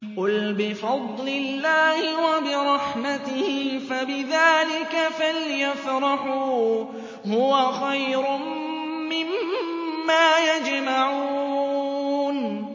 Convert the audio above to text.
قُلْ بِفَضْلِ اللَّهِ وَبِرَحْمَتِهِ فَبِذَٰلِكَ فَلْيَفْرَحُوا هُوَ خَيْرٌ مِّمَّا يَجْمَعُونَ